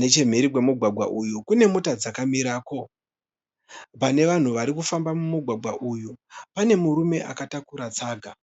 Nechemhiri kwemugwagwa uyu kune mota dzakamirako. Pane vanhu vari kufamba mumugwagwa uyu pane murume akatakura tsaga.